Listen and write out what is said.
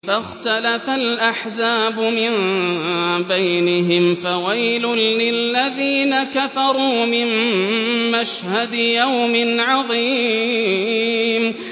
فَاخْتَلَفَ الْأَحْزَابُ مِن بَيْنِهِمْ ۖ فَوَيْلٌ لِّلَّذِينَ كَفَرُوا مِن مَّشْهَدِ يَوْمٍ عَظِيمٍ